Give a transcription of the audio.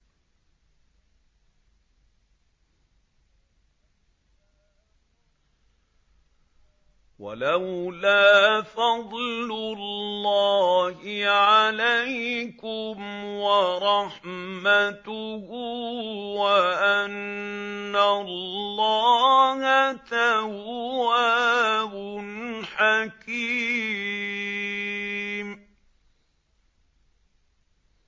وَلَوْلَا فَضْلُ اللَّهِ عَلَيْكُمْ وَرَحْمَتُهُ وَأَنَّ اللَّهَ تَوَّابٌ حَكِيمٌ